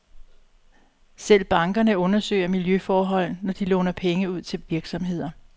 Selv bankerne undersøger miljøforhold, når de låner penge ud til virksomheder.